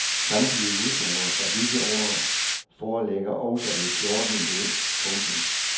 Samtlige udgaver fra disse år foreligger også i fjorten bind. punktum